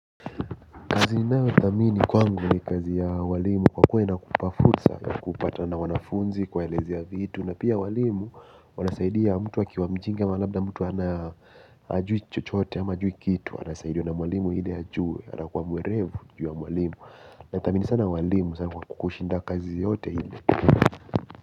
Kazi ninayo thamini kwangu ni kazi ya ualimu kwa kuwa inakupa fursa kupata na wanafunzi kuwaelezea vitu na pia walimu wanasaidia mtu akiwa mjinga ma labda mtu ana ajui chochote ama ajui kitu anasaidia na walimu ile ajue anakuwa mwerevu juu ya walimu nathamini sana walimu sana kwa kukushinda kazi yote ile.